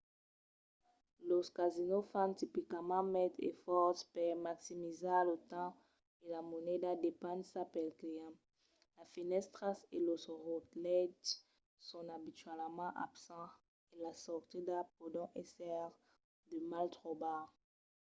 los casinos fan tipicament maites esfòrces per maximizar lo temps e la moneda despensats pels clients. las fenèstras e los relòtges son abitualament absents e las sortidas pòdon èsser de mal trobar